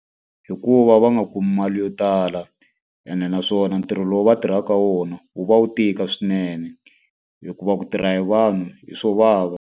Hikuva va nga kumi mali yo tala, ende naswona ntirho lowu va tirhaka wona wu va wu tika swinene. Hikuva ku tirha hi vanhu hi swo vava.